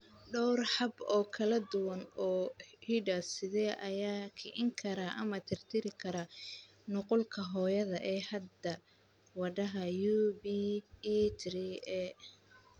Dhowr hab oo kala duwan oo hidde-side ah ayaa kicin kara ama tirtiri kara nuqulka hooyada ee hidda-wadaha UBE3A.